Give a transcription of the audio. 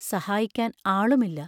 സഹായിക്കാൻ ആളുമില്ല.